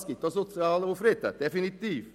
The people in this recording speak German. Das gibt definitiv auch sozialen Unfrieden.